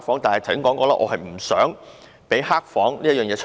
但是，我剛才說過，我不想有"黑房"的情況出現。